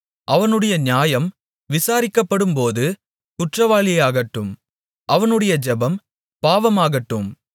அவனுடைய நியாயம் விசாரிக்கப்படும்போது குற்றவாளியாகட்டும் அவனுடைய ஜெபம் பாவமாகட்டும்